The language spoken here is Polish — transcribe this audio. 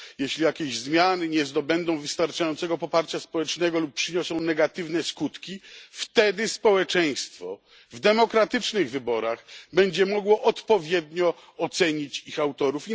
Jeśli jakieś zmiany nie zdobędą wystarczającego poparcia społecznego lub przyniosą negatywne skutki, wtedy społeczeństwo w demokratycznych wyborach będzie mogło odpowiednio ocenić ich autorów.